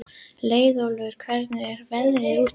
Leiðólfur, hvernig er veðrið úti?